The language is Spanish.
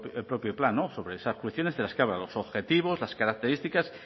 el propio plan sobre esas cuestiones de las que habla los objetivos las características